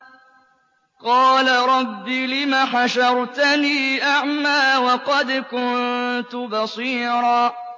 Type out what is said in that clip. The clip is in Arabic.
قَالَ رَبِّ لِمَ حَشَرْتَنِي أَعْمَىٰ وَقَدْ كُنتُ بَصِيرًا